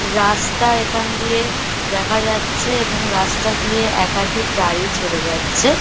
রাস্তা এখান দিয়ে দেখা যাচ্ছে এবং রাস্তা দিয়ে একাধিক গাড়ি চলে যাচ্ছে-এ।